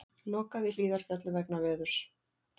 Lokað í Hlíðarfjalli vegna veðurs